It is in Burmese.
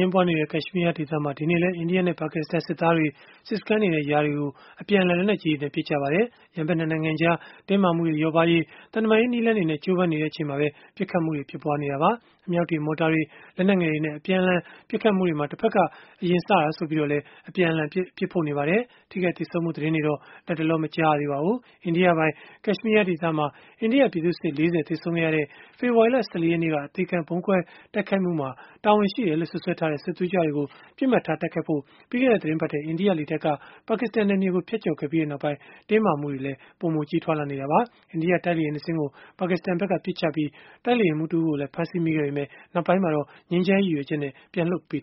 င်းပွားနေတဲ့ ကက်ရှ်မီးယား ဒေသမှာ ဒီနေ့လည်း အိန္ဒိယနဲ့ ပါကစ္စတန်စစ်သားတွေ စစ်စခန်းတွေနဲ့ ရွာတွေကို အပြန်အလှန် လက်နက်ကြီးတွေနဲ့ ပစ်ခတ်ခဲ့ကြပါတယ်။ ရန်ဘက် ၂ နိုင်ငံကြား တင်းမာမှုတွေ လျော့ပါးရေး သံတမန်ရေး နည်းလမ်းတွေနဲ့ ကြိုးပမ်းနေချိန်မှာပဲ ပစ်ခတ်မှုတွေ ဖြစ်ပွားနေတာပါ။ အမြောက်တွေ၊ မော်တာတွေ၊ လက်နက်ငယ်တွေနဲ့ အပြန်အလှန် ပစ်ခတ်မှုတွေမှာ တဖက်က အရင်စတာဆိုပြီးတော့လည်း အပြန်အလှန်အပြစ်ဖို့ နေကြပါတယ်။ ထိခိုက်သေဆုံးမှု သတင်းတွေတော့ လတ်တလော မကြားရသေးပါဘူး။ အိန္ဒိယပိုင် ကက်ရှ်မီးယားဒေသမှာ အိန္ဒိယပြည်သူ့စစ် ၄၀ သေဆုံးခဲ့ရတဲ့ ဖေဖော်ဝါရီလ ၁၄ ရက်နေ့က အသေခံ ဗုံးခွဲတိုက်ခိုက်မှုမှာ တာဝန်ရှိတယ်လို့ စွပ်စွဲထားတဲ့ စစ်သွေးကြွတွေကို တိုက်ခိုက်ဖို့ ပြီးခဲ့တဲ့ သီတင်းပတ်ထဲ အိန္ဒိယလေတပ်က ပါကစ္စတန် နယ်မြေကို ဖြတ်ကျော်ခဲ့ပြီးနောက်ပိုင်း တင်းမာမှုတွေ ပိုမိုကြီးထွားလာနေတာပါ။ အိန္ဒိယတိုက်လေယာဉ် ၂ စင်း ကို ပါကစ္စတန်ဘက်က ပစ်ချခဲ့ပြီး အိန္ဒိယ တိုက်လေယာဉ်မှူး တဦးကိုလည်း ဖမ်းဆီးမိခဲ့ပေမဲ့ နောက်ပိုင်းမှာ ငြိမ်းချမ်းရေး ရည်ရွယ်ချက်နဲ့ ပြန်လွှတ်ပေး